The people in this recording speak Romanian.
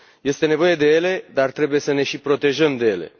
Este nevoie de ele, dar trebuie să ne și protejăm de ele.